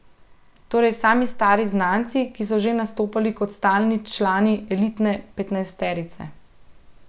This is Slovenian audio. Torej sami stari znanci, ki so že nastopali kot stalni člani elitne petnajsterice.